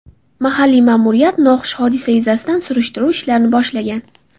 Mahalliy ma’muriyat noxush hodisa yuzasidan surishtiruv ishlarini boshlagan.